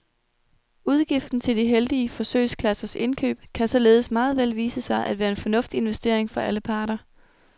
Udgiften til de heldige forsøgsklassers indkøb kan således meget vel vise sig at være en fornuftig investering for alle parter.